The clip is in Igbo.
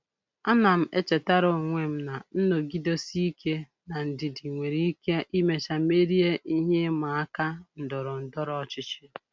Ana m echetara onwe m na nnọgidesi ike na ndidi nwere ike imecha merie ihe ịma aka ndọrọ ndọrọ ọchịchị.